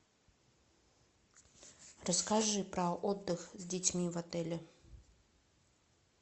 расскажи про отдых с детьми в отеле